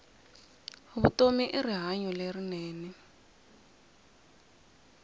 vutomi i rihanyu lerinene